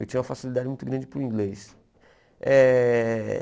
Eu tinha uma facilidade muito grande para o inglês eh.